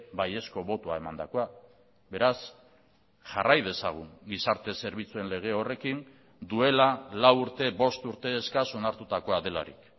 baiezko botoa emandakoa beraz jarrai dezagun gizarte zerbitzuen lege horrekin duela lau urte bost urte eskas onartutakoa delarik